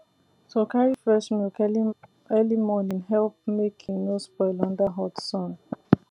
to carry fresh milk early early morning help make e no spoil under hot sun